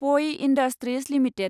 प I industries limited